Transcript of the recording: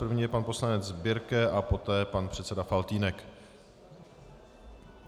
První je pan poslanec Birke a poté pan předseda Faltýnek.